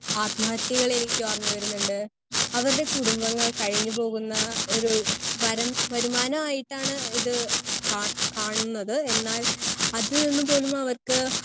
Speaker 1 ആത്മഹത്യകൾ എനിക്കോർമ്മ വരുന്നുണ്ട്. അവരുടെ കുടുംബങ്ങൾ കഴിഞ്ഞു പോകുന്ന ഒരു വരം വരുമാനമായിട്ടാണ് ഇത് കാ കാണണത് എന്നാൽ അത് എന്ന് പോലും അവർക്ക്